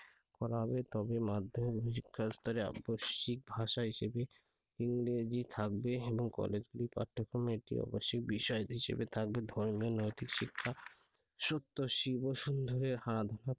করা হবে তবে মাধ্যমিক শিক্ষা স্তরে আবশ্যিক ভাষা হিসেবে ইংরেজি থাকবে এবং কলেজগুলির পাঠ্যক্রমে একটি আবশ্যিক বিষয় হিসেবে থাকবে ধর্মের নৈতিক শিক্ষা